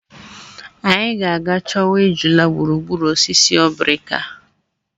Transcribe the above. Anyị ga-aga chọwa ejula gburugburu osisi obrika.